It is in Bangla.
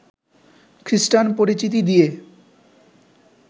খ্রিষ্টান পরিচিতি দিয়ে